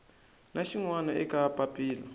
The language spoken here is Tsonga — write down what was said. na xin wana eka papila